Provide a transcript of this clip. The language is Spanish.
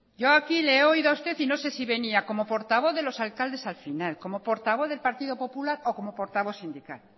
yo aquí le he oído a usted y no sé si venía como portavoz de los alcaldes al final como portavoz del partido popular o como portavoz sindical